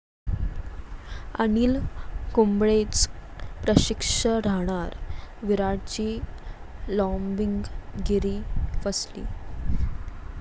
अनिल कुंबळेच प्रशिक्षक राहणार, विराटची 'लाॅबिंग'गिरी फसली